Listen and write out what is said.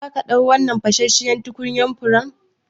Zaka ɗau wannan fashashshiyar tukunyan furen?